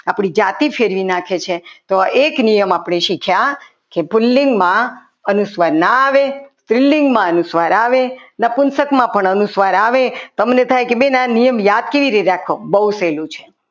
આપણી જાતિ ફેરવી નાખે છે તો એક નિયમ આપણે શીખ્યા કે પુલ્લિંગ માં અનુસ્વાર ન આવે સ્ત્રીલિંગમાં અનુસ્વાર આવે નપુંસકમાં પણ અનુસ્વાર આવે તમે કહો કે બેન આ નિયમ યાદ કેવી રીતે રાખવો બહુ સહેલું છે.